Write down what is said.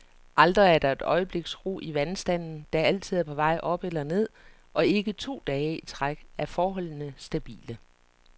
Aldrig er der et øjebliks ro i vandstanden, der altid er på vej op eller ned, og ikke to dage i træk er forholdene stabile.